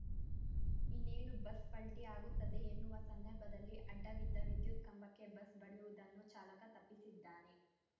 ಇನ್ನೇನು ಬಸ್‌ ಪಲ್ಟಿಯಾಗುತ್ತದೆ ಎನ್ನುವ ಸಂದರ್ಭದಲ್ಲಿ ಅಡ್ಡವಿದ್ದ ವಿದ್ಯುತ್‌ ಕಂಬಕ್ಕೆ ಬಸ್‌ ಬಡಿಯುವುದನ್ನು ಚಾಲಕ ತಪ್ಪಿಸಿದ್ದಾನೆ